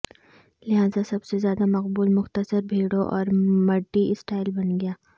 لہذا سب سے زیادہ مقبول مختصر بھیڑوں اور مڈی سٹائل بن گیا